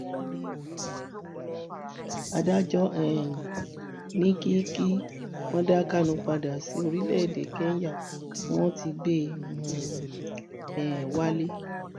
adájọ um ní kí kí wọn dá kánù padà sí orílẹèdè kẹńyà tí wọn ti gbé um e wálé